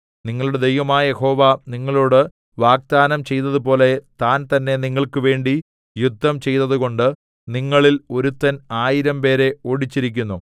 നിങ്ങളുടെ ദൈവമായ യഹോവ നിങ്ങളോടു വാഗ്ദാനം ചെയ്തതുപോലെ താൻതന്നെ നിങ്ങൾക്കുവേണ്ടി യുദ്ധം ചെയ്തതുകൊണ്ട് നിങ്ങളിൽ ഒരുത്തൻ ആയിരംപേരെ ഓടിച്ചിരിക്കുന്നു